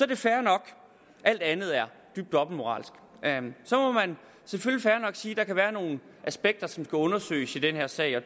det fair nok alt andet er dybt dobbeltmoralsk at sige at der kan være nogle aspekter som skal undersøges i den her sag og